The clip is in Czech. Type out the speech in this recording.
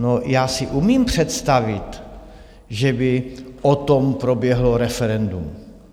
No, já si umím představit, že by o tom proběhlo referendum.